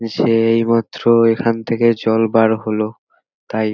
সে-এ-ই এই মাত্র এখান থেকে জল বার হল তাই--